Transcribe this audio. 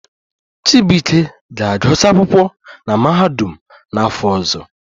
Chibuike ga-agụsị akwụkwọ na mahadum n'afọ ọzọ